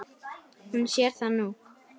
Hún sér það nú.